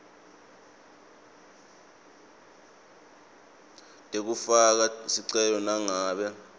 lekufaka sicelo nangabe